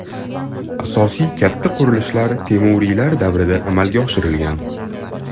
Asosiy katta qurilishlar temuriylar davrida amalga oshirilgan.